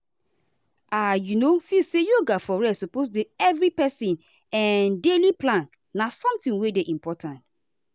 i um feel say yoga for rest suppose dey every person um daily plan na something wey dey important.